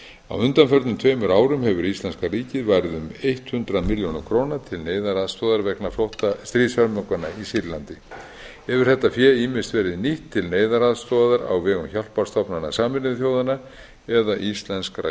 á undanförnum tveimur árum hefur íslenska ríkið varið um hundrað milljónum króna til neyðaraðstoðar vegna stríðshörmunganna í sýrlandi hefur þetta fé ýmist verið nýtt til neyðaraðstoðar á vegum hjálparstofnana sameinuðu þjóðanna eða íslenskra